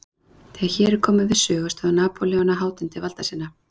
Þegar hér er komið sögu stóð Napóleon á hátindi valda sinna.